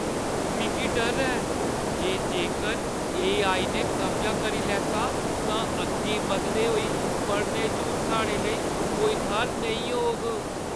मिगी डर ऐ जे जेकर एआई ने कब्जा करी लैता तां अग्गें बधदे होई पढ़ाने च हून साढ़े लेई कोई थाह्‌र नेईं होग।